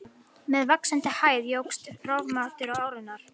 Með vaxandi hæð jókst rofmáttur árinnar.